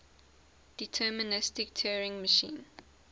deterministic turing machine